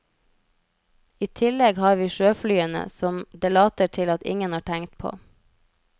I tillegg har vi sjøflyene, som det later til at ingen har tenkt på.